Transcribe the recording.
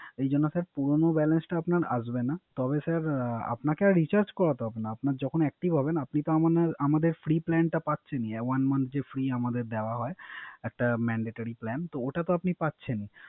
এইজন্য ্ পুরানো Balance টা আপনার আসবে না। তবে স্যার আপনে কে আর Recharge করাতে হবে। আপনার যখন Active হবে আপনি তো আমাদের ফ্রি Plan টা পাচ্ছেন ই। One month এর যে ফ্রি আমদের দেওয়া হয়। একটা Mandatory Plan তো ওটাতে আপনি পাচ্ছেনই।